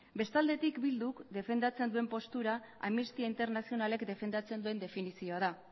bestalde bilduk defendatzen duen postura amnistia internazionalek defendatzen duen definizioa da